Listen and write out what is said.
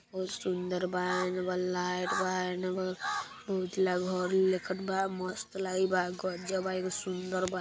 बहुत सुंदर भाई के अंदर लाइट बा वो लखत बा मस्त लगी बा गजब है सुंदर बा।